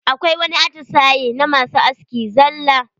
Akwai wani atisaye na masu aski zalla.